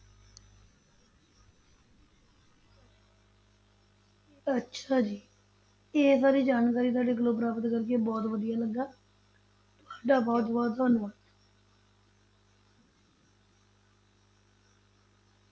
ਅੱਛਾ ਜੀ, ਇਹ ਸਾਰੀ ਜਾਣਕਾਰੀ ਤੁਹਾਡੇ ਕੋਲੋਂ ਪ੍ਰਾਪਤ ਕਰਕੇ ਬਹੁਤ ਵਧੀਆ ਲੱਗਾ, ਤੁਹਾਡਾ ਬਹੁਤ ਬਹੁਤ ਧੰਨਵਾਦ।